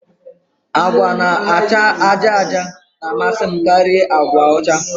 Agwa na-acha àjà àjà na-amasị m karịa agwa ọcha